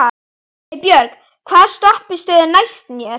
Heiðbjörg, hvaða stoppistöð er næst mér?